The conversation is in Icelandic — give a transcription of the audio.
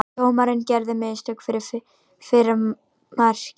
Dómarinn gerði mistök fyrir fyrra markið.